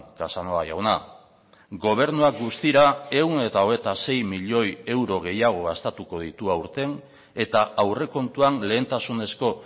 casanova jauna gobernuak guztira ehun eta hogeita sei milioi euro gehiago gastatuko ditu aurten eta aurrekontuan lehentasunezko